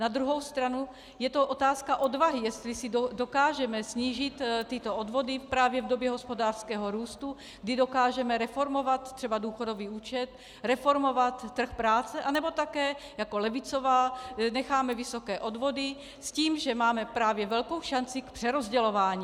Na druhou stranu je to otázka odvahy, jestli si dokážeme snížit tyto odvody právě v době hospodářského růstu, kdy dokážeme reformovat třeba důchodový účet, reformovat trh práce, anebo také jako levicová necháme vysoké odvody s tím, že máme právě velkou šanci k přerozdělování.